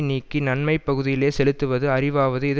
நீக்கி நன்மை பகுதியிலே செலுத்துவது அறிவாவது இது